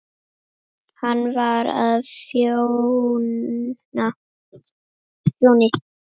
Hann var á Fjóni.